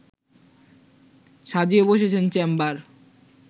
সাজিয়ে বসেছেন চেম্বার